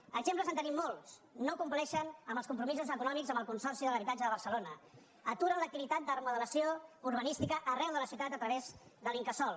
d’exemples en tenim molts no compleixen amb els compromisos econòmics amb el consorci de l’habitatge de barcelona aturen l’activitat de remodelació urbanística arreu de la ciutat a través de l’incasòl